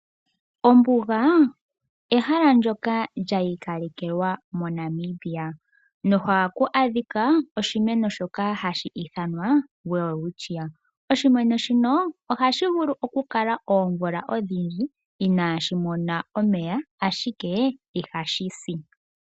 Ombuga ehala ndyoka lyiikalekelwa moNamibia mu na oshimeno hashi ithanwa Welwitchia. Oshimeno shino oha shi vulu okukala oomvula odhindji ina shi mona omeya ashike iha shi si.